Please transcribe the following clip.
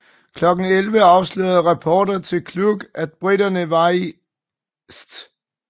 Klokken 11 afslørede rapporter til Kluck at briterne var i St